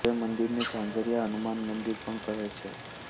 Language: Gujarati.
હવે મંદિરને ઝાંઝરિયા હનુમાન મંદિર પણ કહે છે